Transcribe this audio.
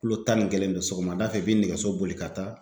Kilo tan ni kelen don . Sɔgɔmada fɛ, i be nɛgɛso boli ka taa.